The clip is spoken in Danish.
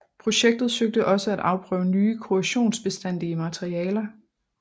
Projektet søgte også at afprøve nye korrosionsbestandige materialer